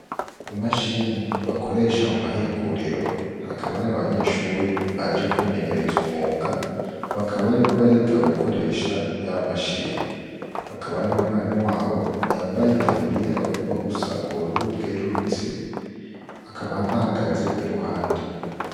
Imashini bakoresha mu mahinguriro hakaba hari abanyeshuri baje kwimenyereza umwuga bakaba bariko bariga gukoresha ya mashini. Hakaba hariho umwarimu wabo yambaye itaburiya igomba gusa ubururu bwerurutse akaba bahagaze iruhande.